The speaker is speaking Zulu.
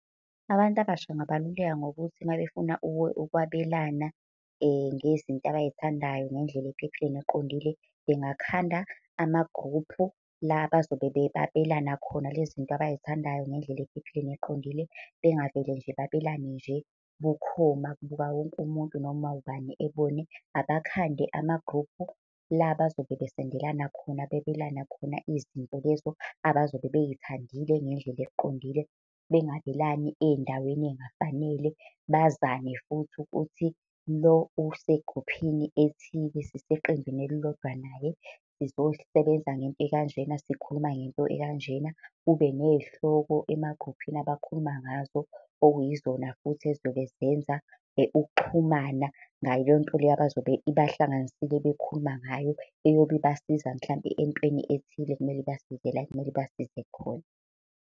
Abantu abasha ngabaluleka ngokuthi uma befuna ukwabelana ngezinto abay'thandayo, ngendlela ephepheni neqondile bengakhanda amagruphu la bezobe babelana khona lezi nto abay'thandayo ngendlela ephepheni neqondile. Bangavele nje babelane nje bukhoma kubuka wonke umuntu, noma ubani ebone. Abakhade amagruphu la abazobe besendelana khona, bebelana khona izinto lezo abazobe bey'thandile ngendlela eqondile. Bengabelani ey'ndaweni ey'ngafanele, bazane futhi ukuthi lo usegruphini ethile, siseqenjini elilodwa naye, sizosebenza ngento ekanjena, sikhuluma ngento ekanjena. Kube ney'hloko emagruphini abakhuluma ngazo, okuyizona futhi ey'zobe zenza ukuxhumana ngaleyo nto leyo abazobe ibahlanganisile bekhuluma ngayo. Eyobe ibasiza mhlampe entweni ethile ekumele basibizela la ekumele ibasize khona.